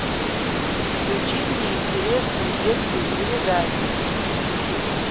включи мне интересную детскую передачу